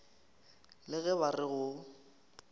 le ge ba re go